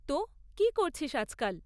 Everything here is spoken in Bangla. তো, কী করছিস আজকাল?